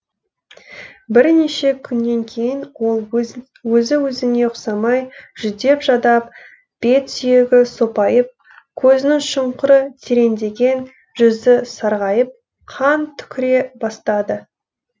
бірнеше күннен кейін ол өзі өзіне ұқсамай жүдеп жадап бет сүйегі сопайып көзінің шұңқыры тереңдеген жүзі сарғайып қан түкіре бастады